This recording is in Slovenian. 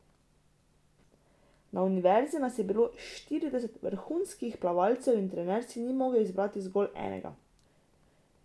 Na univerzi nas je bilo štirideset vrhunskih plavalcev in trener si ni mogel izbrati zgolj enega.